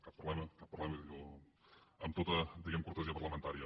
cap problema cap problema amb tota diguem ne cortesia parlamentària